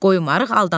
qoymarıq aldanaq.